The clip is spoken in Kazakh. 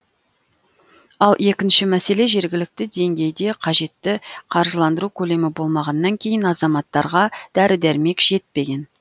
ал екінші мәселе жергілікті деңгейде қажетті қаржыландыру көлемі болмағаннан кейін азаматтарға дәрі дәрмек жетпеген